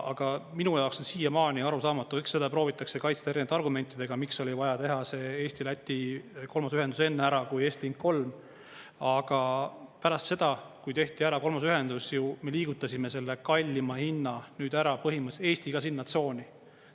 Aga minu jaoks on siiamaani arusaamatu, eks seda proovitakse kaitsta erinevate argumentidega, miks oli vaja teha see Eesti-Läti kolmas ühendus enne ära, kui Estlink 3, aga pärast seda, kui tehti ära kolmas ühendus, me liigutasime selle kallima hinna nüüd ära, põhimõtteliselt Eesti ka sinna tsooni.